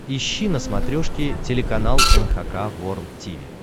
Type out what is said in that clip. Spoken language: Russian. ищи на смотрешке телеканал эн эйч кей волд ти ви